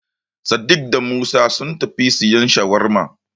Sadik da Musa sun tafi siyan Shawarma.